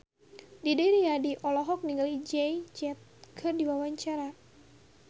Didi Riyadi olohok ningali Jay Z keur diwawancara